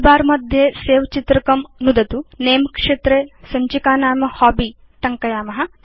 toolbar मध्ये Save चित्रकं नुदतु Name क्षेत्रे सञ्चिकानाम हॉबी इति टङ्कयेम